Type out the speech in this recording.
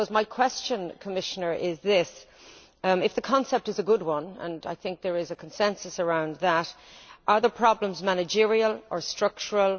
I suppose my question, Commissioner, is this if the concept is a good one and I think there is a consensus around that are the problems managerial or structural?